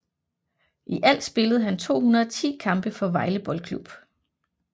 I alt spillede han 210 kampe for Vejle Boldklub